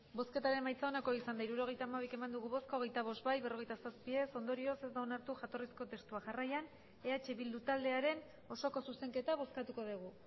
hirurogeita hamabi eman dugu bozka hogeita bost bai berrogeita zazpi ez ondorioz ez da onartu jatorrizko testua jarraian eh bildu taldearen osoko zuzenketa bozkatuko dugu